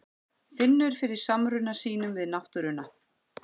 Finnur fyrir samruna sínum við náttúruna.